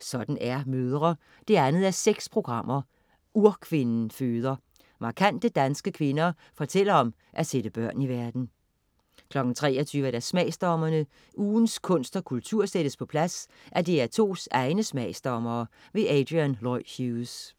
Sådan er mødre 2:6. Urkvinden føder. Markante danske kvinder fortæller om at sætte børn i verden 23.00 Smagsdommerne. Ugens kunst og kultur sættes på plads af DR2's egne smagsdommere. Adrian Lloyd Hughes